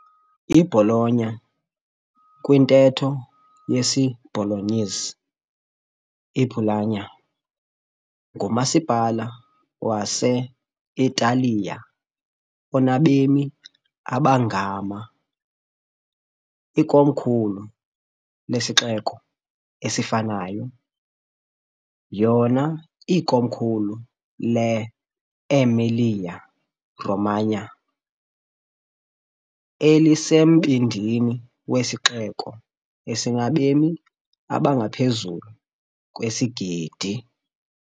I-Bologna, kwintetho yesi-Bolognese, iBulåggna, ngumasipala wase-Italiya onabemi abangama, ikomkhulu lesixeko esifanayo, yona ikomkhulu le- Emilia-Romagna, elisembindini wesixeko esinabemi abangaphezu kwesigidi.